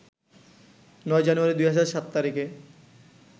৯ জানুয়ারি ২০০৭ তারিখে